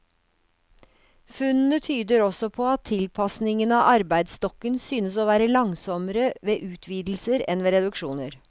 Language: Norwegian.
Funnene tyder også på at tilpasningen av arbeidsstokken synes å være langsommere ved utvidelser enn ved reduksjoner.